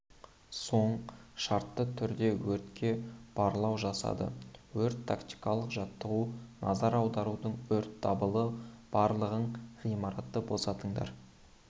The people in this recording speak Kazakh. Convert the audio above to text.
соң шартты түрде өртке барлау жасады өрт-тактикалық жаттығу назар аударыңдар өрт дабылы барлығың ғимаратты босатыңдар